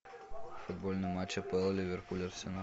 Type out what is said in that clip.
футбольный матч апл ливерпуль арсенал